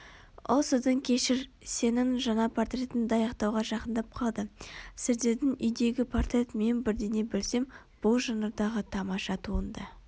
ол сіздің кешір сенің жаңа портретіңді аяқтауға жақындап қалды сіздердің үйдегі портрет мен бірдеңе білсем бұл жанрдағы тамаша туынды